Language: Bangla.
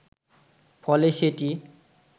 ফলে সেটি